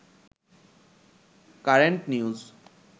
current news